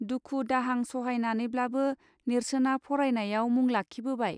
दुखु दाहां सहायनानैब्लाबो नेर्सोना फरायनायाव मुंलाखिबोबाय.